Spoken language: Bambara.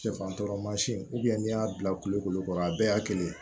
Sɛfan tɔɔrɔ mansin n'i y'a bila kulo kɔrɔ a bɛɛ y'a kelen ye